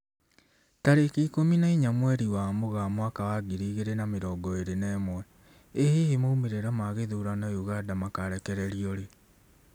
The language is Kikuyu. Tarĩki ikũmi na inya mweri wa Mũgaa mwaka wa ngiri igĩri na mĩrongo ĩri na ĩmwe, ĩ hihi maumĩrĩra ma gĩthurano Uganda makarekererio rĩ?